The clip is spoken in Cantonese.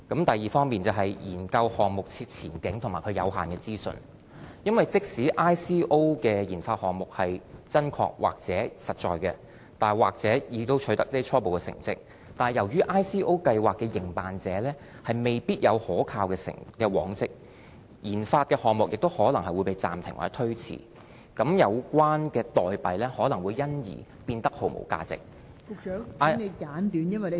第二，是研究項目的前景和有限的資訊，因為即使 ICO 的研發項目真確或實在，甚或已經取得初步成績，但由於 ICO 計劃的營辦者未必有可靠的往績，研發項目也可能會暫停或推遲，有關代幣可能會因而變得毫無價值......